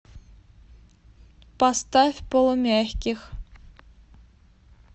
поставь полумягких